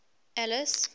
alice